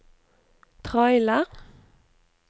trailer